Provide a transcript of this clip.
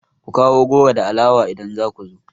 Ku kawo goro da alawa idan za ku zo!